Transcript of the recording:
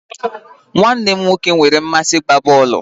Nwanne m nwoke nwere mmasị n'ịgba bọọlụ